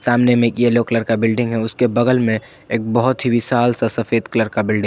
सामने में एक येलो कलर का बिल्डिंग है उसके बगल में एक बहुत ही विशाल सा सफेद कलर का बिल्डिंग ।